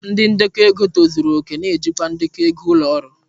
Ndi ndekọ ego tozuru oke na-ejikwa ndekọ ego ụlọ ọrụ.